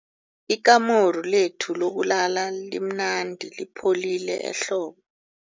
Ikamuru lethu lokulala limnandi lipholile ehlobo.